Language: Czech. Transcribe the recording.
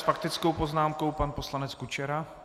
S faktickou poznámkou pan poslanec Kučera.